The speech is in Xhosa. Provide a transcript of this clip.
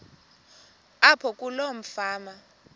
apho kuloo fama